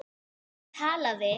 Lúna talaði